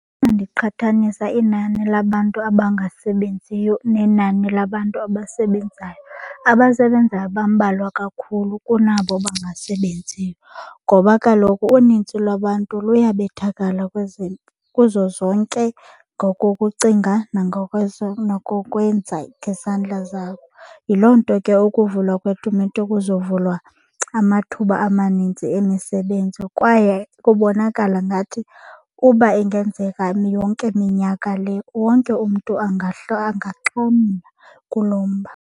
Xa ndiqhathanisa inani labantu abangasebenziyo nenani labantu abasebenzayo, abasebenzayo bambalwa kakhulu kunabo bangasebenziyo ngoba kaloku unintsi lwabantu luyabethakala kuzo zonke ngokokucinga nangokwenza ngezandla zakho. Yiloo nto ke ukuvula kwetumente kuzovulwa amathuba amanintsi emisebenzi kwaye kubonakala ngathi uba ingenzeka yonke minyaka le wonke umntu angaxhamla kulo mba.